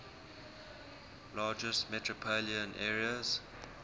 largest metropolitan areas